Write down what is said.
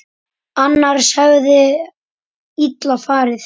Annars hefði illa farið.